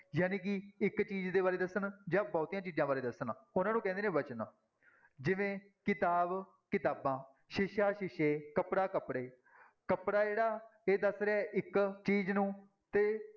ਜਾਣੀ ਕਿ ਇੱਕ ਚੀਜ਼ ਦੇ ਬਾਰੇ ਦੱਸਣ ਜਾਂ ਬਹੁਤੀਆਂ ਚੀਜ਼ਾਂ ਬਾਰੇ ਦੱਸਣ, ਉਹਨਾਂ ਨੂੰ ਕਹਿੰਦੇ ਨੇ ਵਚਨ ਜਿਵੇਂ ਕਿਤਾਬ, ਕਿਤਾਬਾਂ, ਸ਼ੀਸ਼ਾ, ਸ਼ੀਸ਼ੇ, ਕੱਪੜਾ, ਕੱਪੜੇ, ਕੱਪੜਾ ਜਿਹੜਾ ਇਹ ਦੱਸ ਰਿਹਾ ਹੈ ਇੱਕ ਚੀਜ਼ ਨੂੰ ਤੇ